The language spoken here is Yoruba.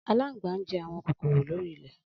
Alangba njẹ awọn kokoro lori ilẹ.